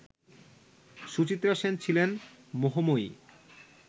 সুচিত্রা সেন ছিলেন মোহময়ী